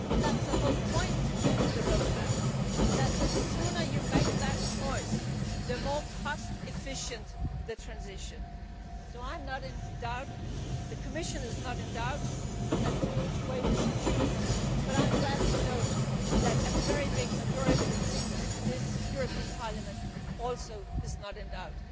it now. That is the whole point of the Roadmap the sooner you make that choice, the more cost efficient the transition will be. Neither I nor the Commission is in doubt as to which way we should choose, but I am glad to note that a very large majority in this European Parliament is also not